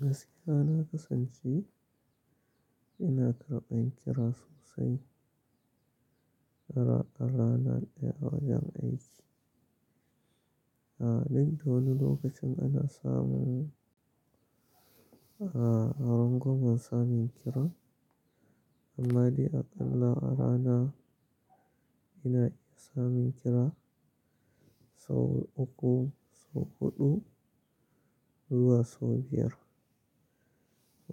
Gaskiya ana kasancewa ina karɓan kira sosai a rana ɗaya a wajen aiki. Duk da wani lokacin ana samun, a harangomin samun kira. Amma dai aƙalla a rana ina iya samun kira sau uku ko huɗu zuwa sau biyar.